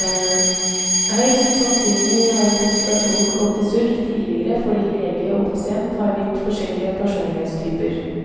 Høyst sannsynlig har kommunikasjonen gått i surr tidligere fordi lege og pasient har vidt forskjellig personlighetstyper.